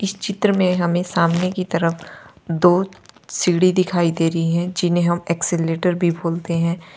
इस चित्र में हमें सामने की तरफ दो सीढ़ी दिखाई दे रही है जिन्हें हम एस्केलेटर भी बोलते है।